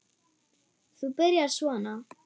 Þú byrjar svona.